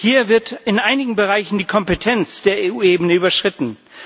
Hier wird in einigen Bereichen die Kompetenz der EU eben überschritten.